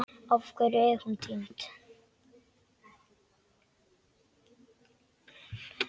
Af hverju er hún týnd?